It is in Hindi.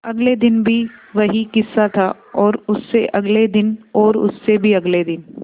अगले दिन भी वही किस्सा था और उससे अगले दिन और उससे भी अगले दिन